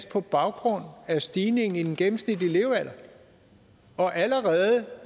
på baggrund af stigningen i den gennemsnitlige levealder og allerede